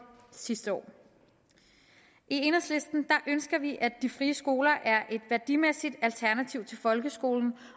sidste år i enhedslisten ønsker vi at de frie skoler er et værdimæssigt alternativ til folkeskolen